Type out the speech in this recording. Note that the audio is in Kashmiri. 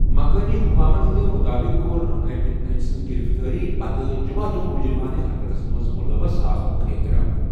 مقٲمی حُكامن ہندِ مُطٲبِق، كوٚر أمۍ ،أمۍ سٕنٛزِ گِرِفتٲری پتہٕ، جُمع دۄہ مُجرِمانہٕ حرکتس ' منٛز مُلوَص آسنُک اعتراف ۔